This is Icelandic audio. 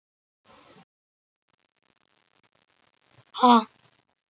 Lokið sat þétt ofan á honum og vatnið var hreint og gott.